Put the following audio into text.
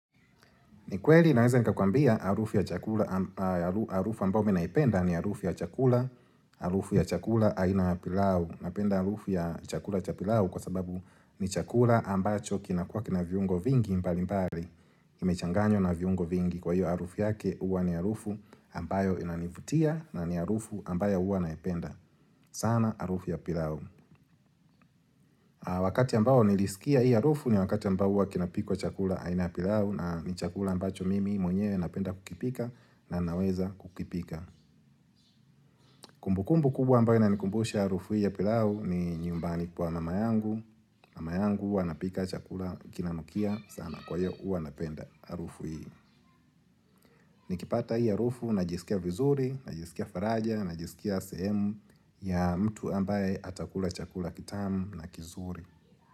Ni kweli naeza nikakwambia harufu ya chakula, harufu ambayo mimi naipenda ni harufu ya chakula, harufu ya chakula aina ya pilau, napenda harufu ya chakula cha pilau kwa sababu ni chakula ambacho kinakuwa kina viungo vingi mbali mbali, imechanganywa na viungo vingi kwa hiyo harufu yake huwa ni harufu ambayo inanivutia na ni harufu ambayo huwa naipenda. Sana harufu ya pilau. Wakati ambao nilisikia hii harufu ni wakati ambao huwa kinapikwa chakula aina ya pilau na ni chakula ambacho mimi mwenyewe napenda kukipika na naweza kukipika Kumbukumbu kubwa ambayo inanikumbusha harufu hii ya pilau ni nyumbani kwa mama yangu, mama yangu huwa anapika chakula kinanukia sana kwa hiyo huwa napenda harufu hii Nikipata hii harufu najisikia vizuri, najisikia faraja, najisikia sehemu ya mtu ambaye atakula chakula kitamu na kizuri.